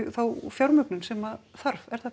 fá fjármögnun sem þarf er það